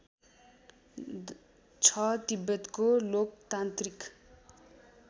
छ तिब्बतको लोकतान्त्रिक